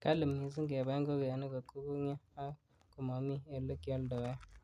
Kali missing kabai ingogenik kot kokongyo ak komomi ele kioldoen.